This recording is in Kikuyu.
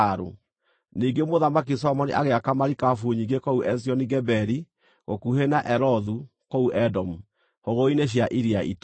Ningĩ Mũthamaki Solomoni agĩaka marikabu nyingĩ kũu Ezioni-Geberi, gũkuhĩ na Elothu kũu Edomu, hũgũrũrũ-inĩ cia Iria Itune.